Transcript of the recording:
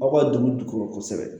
Aw ka dugu kosɛbɛ